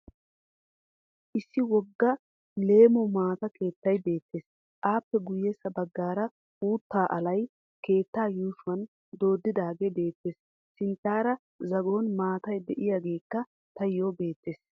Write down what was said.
Issi wogga leemo maata keettay beettes. Aappe guyyessa baggaara uuttaa alay keettaa yuushshuwan dooddidaagee beettes. Sinttaara zagon maatay diyageekka tayyoo beettes.